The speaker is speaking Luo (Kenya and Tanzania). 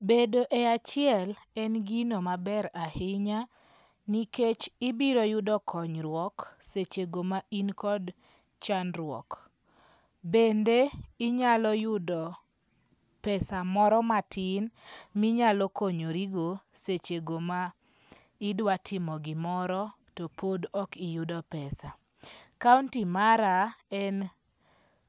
Bedo e achiel en gino maber ahinya, nikech ibiro yudo konyruok sechego ma in kod chandruok, bende inyalo yudo pesa moro matin ma inyalo konyorigo sechego ma idwatimo gimoro to pod okiyudo pesa, county mara en